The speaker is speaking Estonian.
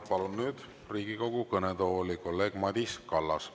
Palun Riigikogu kõnetooli kolleeg Madis Kallase.